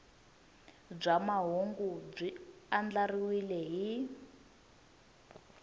bya mahungu byi andlariwile hi